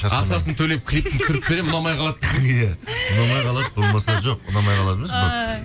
ақшасын төлеп клипін түсіріп беремін ұнамай қалады ұнамай қалады болмаса жоқ ұнамай қалады емес